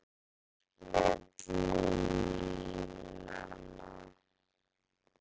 Hann las milli línanna.